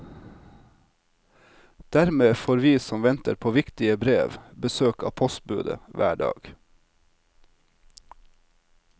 Dermed får vi som venter på viktige brev, besøk av postbudet hver dag.